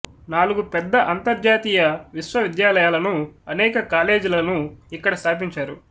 నాలుగు పెద్ద అంతర్జాతీయ విశ్వవిద్యాలయాలను అనేక కాలేజీలనూ ఇక్కడ స్థాపించారు